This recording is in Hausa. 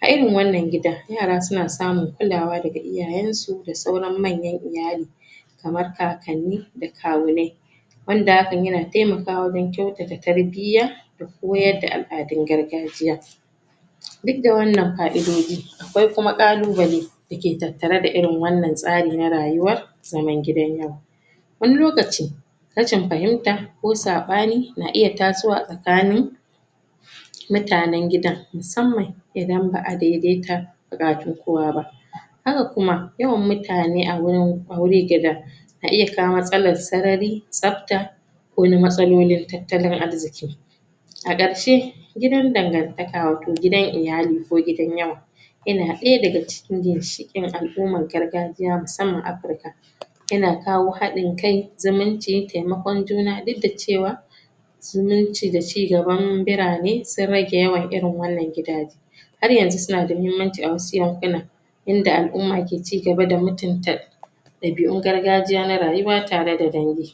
a irin wannan gidan, yara suna samun kulawa daga iyayensu da sauran manyan iyali kamar kakanni da kawunai wanda hakan yana taimakawa wajen kyautata tarbiyya da koyadda al'adun gargajiya duk da wannan fa'idodi akwai kuma ƙalubale dake tattare da irin wannan tsari na rayuwa zaman gidan yawa wani lokaci rashin fahimta ko saɓani na iya tasowa tsakanin mutanen gidan musamman idan ba'a daidaita buƙatun kowa ba haka kuma yawan mutane a wurin aure.... na iya kawo matsalar sarari, tsafta, ko wani matsalolin tattalin arziƙi a ƙarshe gidan dangantaka wato gidan iyali ko gidan yawa ina ɗaya daga cikin ginshiƙin al'uman gargajiya musamman Afrika yana kawo haɗin kai, zumunci, taimakon juna duk da cewa zuminci da ci gaban birane sun rage yawan irin wannan gidaje har yanzu suna da muhimmanci a wasu yankuna yanda al'umma ke ci gaba da mutunta ɗabi'un gargajiya na rayuwa tare da dangi